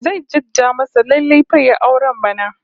Zai jadda masa lallai fa yayi auren bana